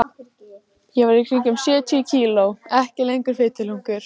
Ég var í kringum sjötíu kíló, ekki lengur fituhlunkur.